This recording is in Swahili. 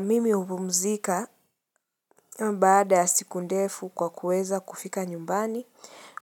Mimi hupumzika baada ya siku ndefu kwa kuweza kufika nyumbani,